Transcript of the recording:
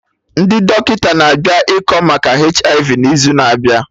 Ndị dọkịta na-abịa ịkọ maka HIV n'izu na abịa